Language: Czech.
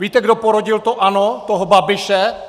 Víte, kdo porodil to ANO, toho Babiše?